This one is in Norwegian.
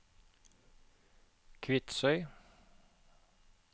Kvitsøy